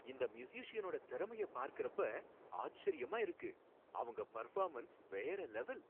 இந்த மியூசிஸியனோட திறமைய பார்க்கறப்ப ஆச்சரியமா இருக்கு. அவங்க பெர்ஃபார்மன்ஸ் வேற லெவல்.